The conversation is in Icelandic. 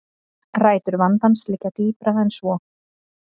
Rætur vandans liggja dýpra en svo